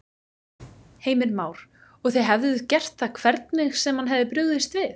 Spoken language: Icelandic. Heimir Már: Og þið hefðuð gert það hvernig sem hann hefði brugðist við?